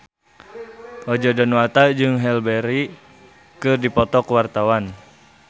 Roger Danuarta jeung Halle Berry keur dipoto ku wartawan